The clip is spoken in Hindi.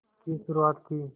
की शुरुआत की